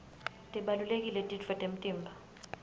tibalulekile titfo temtimba